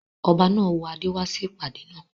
Ọba náà wọ adé wá sí ìpàdé naa